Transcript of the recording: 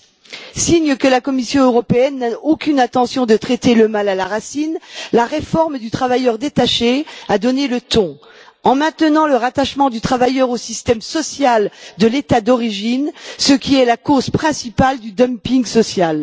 10. Signe que la Commission européenne n'a aucune intention de traiter le mal à la racine, la réforme du travailleur détaché a donné le ton en maintenant le rattachement du travailleur au système social de l'État d'origine, ce qui est la cause principale du dumping social.